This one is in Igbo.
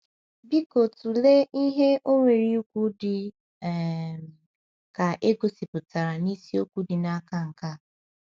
Biko tụlee ihe o nwere ikwu dị um ka e gosipụtara na isiokwu dị n’aka nke a.